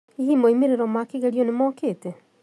Hihi moimĩrĩro ma kĩgerio nĩmŏkĩte?